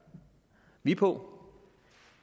vi på